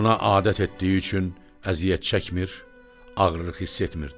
Buna adət etdiyi üçün əziyyət çəkmir, ağırlıq hiss etmirdi.